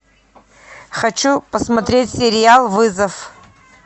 хочу посмотреть сериал вызов